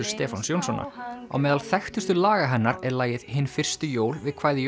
Stefáns Jónssonar á meðal þekktustu laga hennar er lagið Hin fyrstu jól við kvæði